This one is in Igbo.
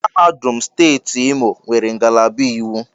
Mahadum steeti Imo nwere ngalaba iwu.